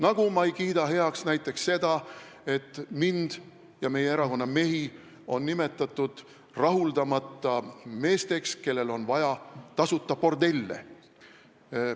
Samuti ei kiida ma heaks näiteks seda, et mind ja meie erakonna mehi on nimetatud rahuldamata meesteks, kellele on vaja tasuta bordelle.